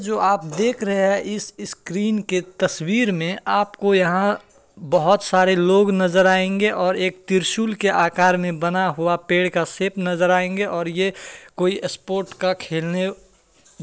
जो आप देख रहें हैं इस इस स्क्रीन के तस्वीर में आपको यहाँ बहुत सारे लोग नज़र आएंगे और एक त्रिशूल के आकार में बना हुआ पेड़ का शेप नज़र आएंगे और ये कोई स्पोर्ट का खेलने --